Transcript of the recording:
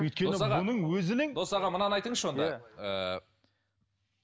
дос аға мынаны айтыңызшы онда ыыы